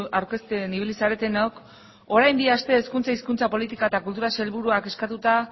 aurkezten ibili zaretenok orain bi aste hezkuntza hizkuntza politika eta kultura sailburuak eskatuta